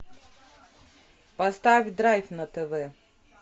поставь драйв на тв